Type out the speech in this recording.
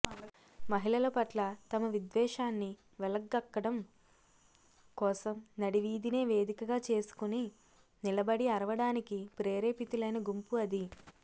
మహిళల పట్ల తమ విద్వేషాన్ని వెళ్లగక్కడం కోసం నడి వీధినే వేదికగా చేసుకొని నిలబడి అరవడానికి ప్రేరేపితులైన గుంపు అది